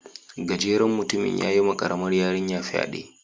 Gajeren mutumin yayi wa karamar yarinya fyade.